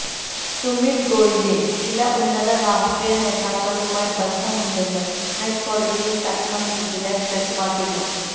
സുമിത് ഗോയലിന് ചില ഉന്നത രാഷ്ട്രീയ നേതാക്കളുമായി ബന്ധമുണ്ടെന്ന് ഹൈക്കോടതിയിലടക്കം വിജിലൻസ് വ്യക്തമാക്കിയിരുന്നു